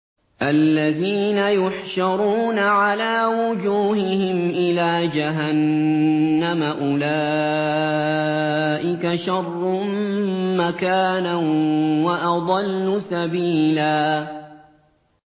الَّذِينَ يُحْشَرُونَ عَلَىٰ وُجُوهِهِمْ إِلَىٰ جَهَنَّمَ أُولَٰئِكَ شَرٌّ مَّكَانًا وَأَضَلُّ سَبِيلًا